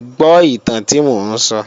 Gbọ́ ìtàn tí mò ń sọ!